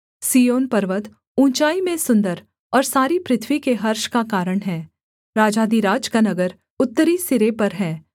सिय्योन पर्वत ऊँचाई में सुन्दर और सारी पृथ्वी के हर्ष का कारण है राजाधिराज का नगर उत्तरी सिरे पर है